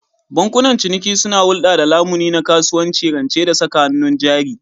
Bankunan ciniki suna hulɗa da lamuni na kasuwanci, rance da saka hannun jari.